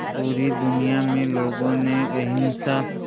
पूरी दुनिया में लोगों ने अहिंसा